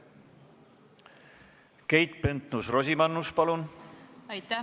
Keit Pentus-Rosimannus, palun!